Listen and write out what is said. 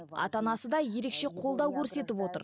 ата анасы да ерекше қолдау көрсетіп отыр